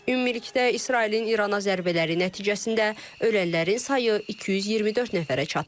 Ümumilikdə İsrailin İrana zərbələri nəticəsində ölənlərin sayı 224 nəfərə çatıb.